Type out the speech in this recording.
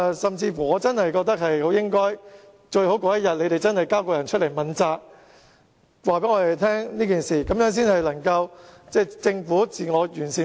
甚至，我覺得政府屆時最好交出須問責的人，清楚交代事情，這樣政府制度才可以自我完善。